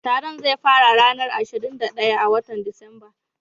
Taron zai fara ranan ashirin da daya na wotan Disamba.